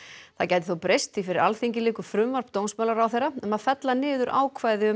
það gæti þó breyst því fyrir Alþingi liggur frumvarp dómsmálaráðherra um að fella niður ákvæði um